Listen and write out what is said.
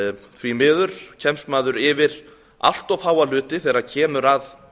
því miður kemst maður yfir allt of fáa hluti þegar kemur að